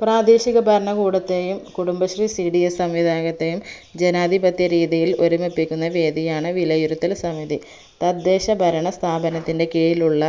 പ്രാദേശിക ഭരണകൂടത്തെയും കുടുംബശ്രീ cds സംവിദായകത്തേയും ജനാധിപത്യ രീതിയിൽ ഒരുമിപ്പിക്കുന്ന വേദിയാണ് വിലയിരുത്തൽസമിതി തദ്ദേശഭരണ സ്ഥാപനത്തിന്റെ കീഴിലുള്ള